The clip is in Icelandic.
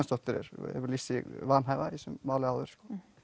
hefur lýst sig vanhæfa í þessu máli áður